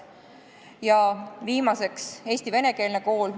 Ja viimaseks: Eesti venekeelne kool vajab tuge ja selgust.